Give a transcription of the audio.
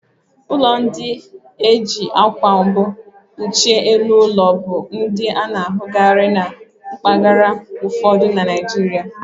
Ụlọ ndị e ji akwa mbu kpuchie elu ụlọ, bụ ndị a na-ahụkarị na mpaghara ụfọdụ na Naijiria